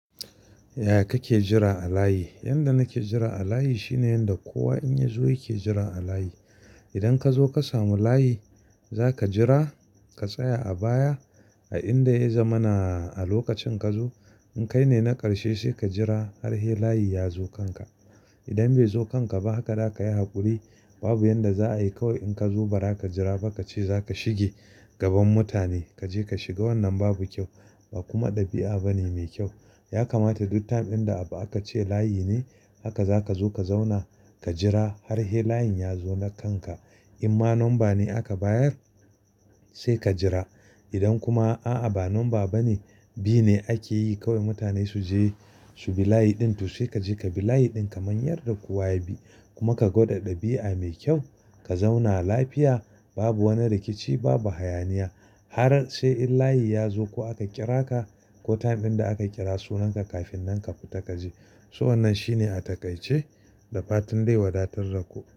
Yaya kake jira a layi? Yanda nake jira a layi shine yanda kowa in ya zo yake jira a layi. Idan ka zo ka samu layi, za ka jira ka tsaya a baya a inda ya zamana a lokacin ka zo. In kai ne na ƙarshe sai ka jira har he layi ya zo kanka. Idan bai zo kanka ba haka, da ka yi haƙuri babu yanda za a yi kawai in ka zo bara ka jira ba ka ce za ka shige gaban mutane. Ka je ka shiga wannan babu kyau, ba kuma ɗabi'a bane mai kyau. Ya kamata duk time inda abu aka ce layi ne haka za ka zo ka zauna ka jira har he layin ya zo na kanka. In ma number ne aka bayar sai ka jira. Idan kuma a'a ba number ba ne, bi ne ake yi kawai mutane su je su bi layi ɗin to sai ka je ka bi layi ɗin kamar yadda kowa ya bi. Kuma ka gwada ɗabi'a mai kyau, ka zauna lafiya babu wani rikici, babu hayaniya. Har sai in layi ya zo ko aka kira ka ko time inda aka kira sunanka kafin nan ka fita ka je. So wannan shine a takaice da fatan dai wadatar da ku.